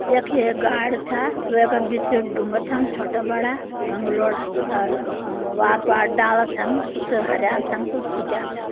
यख ये गाड़ छ। वै क बिच ढूँगा छन छोटा बड़ा गंगलोड़ा। अर अ वार्त वा डाला छन कुछ हरयां छन कुछ सुक्याँ छन।